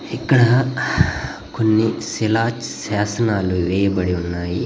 ఇక్కడ కొన్ని శిలా శాసనాలు వేయబడి ఉన్నాయి.